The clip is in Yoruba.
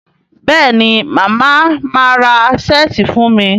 Béèni Mama má rà Ṣẹ́ẹ̀tì fún mí?